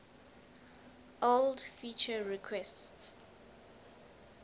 old feature requests